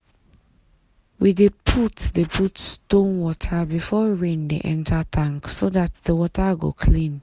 we dey put dey put stone water before rain dey enter tank so dat the water go clean.